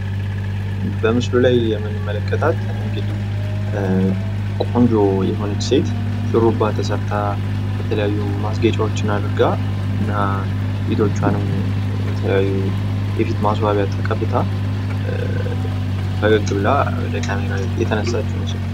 በምስሉ ላይ የምንመለከታት ቆንጆ የሆነች ሴት ሹሩባ ተሰርታ፣ የተለያዩ ማስጌጫወችን አድርጋ እና ፊቷን የተለያዩ የፊት ማስዋቢያ ተቀብታ የተነሳችው ምስል ነው።